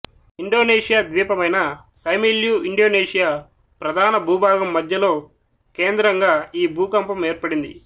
Indonesia ద్వీపమైన Simeulue Indonesia ప్రధాన భూభాగం మధ్యలో కేంద్రంగా ఈ భూకంపం ఏర్పడింది